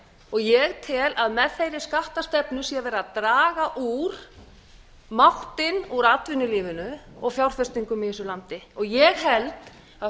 og ég tel að með þeirri skattastefnu sé verið að draga máttinn úr atvinnulífinu og fjárfestingum í þessu landi og ég held að